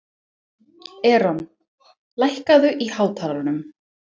Eron, lækkaðu í hátalaranum.